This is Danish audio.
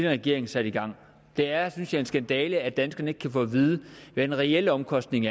regering satte i gang det er synes jeg en skandale at danskerne ikke kan få at vide hvad den reelle omkostning